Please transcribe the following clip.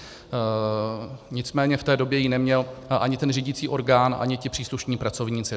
Nicméně v té době ji neměl ani ten řídící orgán, ani ti příslušní pracovníci.